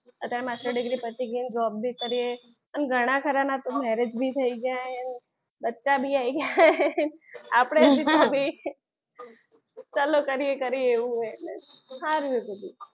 અત્યારમાં master degree પતી ગઈ job ભી કરીએ અને ઘણા ખાના તો marriage થઈ ગયા બચ્ચા ભી આવી ગયા છે. આપણે હજી તો ચાલુ કરીએ કરે એવું છે સારું,